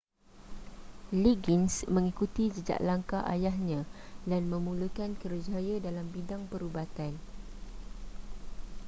liggins mengikuti jejak langkah ayahnya dan memulakan kerjaya dalam bidang perubatan